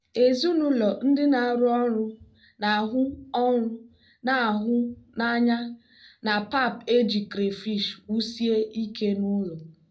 ezinaụlọ ndị na-arụ ọrụ na-ahụ ọrụ na-ahụ n'anya na pap e ji crayfish wusie ike n'ụlọ.